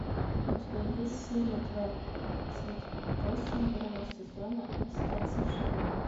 у тебя есть серия двадцать восемь первого сезона остаться в живых